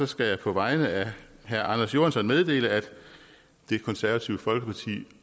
skal jeg på vegne af herre anders johansson meddele at det konservative folkeparti